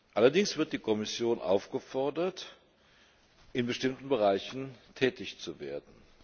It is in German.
Allerdings wird die Kommission aufgefordert, in bestimmten Bereichen tätig zu werden.